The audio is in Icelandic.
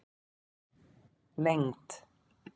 lengd